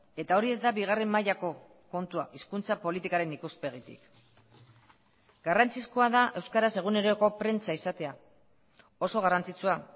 eta hori ez da bigarren mailako kontua hizkuntza politikaren ikuspegitik garrantzizkoa da euskaraz eguneroko prentsa izatea oso garrantzitsua